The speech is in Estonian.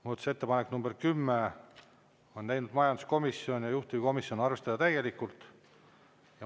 Muudatusettepaneku nr 10 on teinud majanduskomisjon ja juhtivkomisjon: arvestada täielikult.